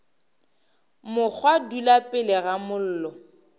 mokgwa dula pele ga mollo